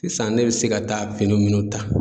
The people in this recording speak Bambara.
Sisan ne be se ka taa fini minnu ta